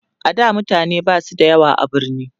a da mutane Basu da yawa a birni